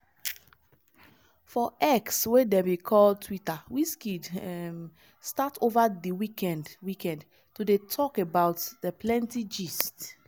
for x wey dem bin call twitter wizkid um start ova di weekend weekend to dey tok about di plenty gist